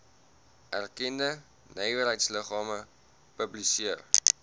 erkende nywerheidsliggame publiseer